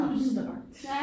Abstrakt